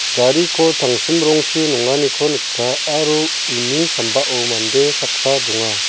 gariko tangsim rongchi nonganiko nika aro uni sambao mande saksa donga.